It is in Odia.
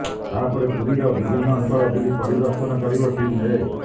ତା ପରେ ପୁରୀର ବିଭିନ୍ନ ଅଞ୍ଚଳ ବୁଲି ପରିଦର୍ଶନ କରିବ ଟିମ ଏ